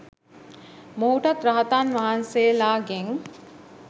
මොහුටත් රහතන් වහන්සේලාගෙන්